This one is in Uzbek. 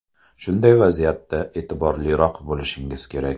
Shunday vaziyatda e’tiborliroq bo‘lishingiz kerak.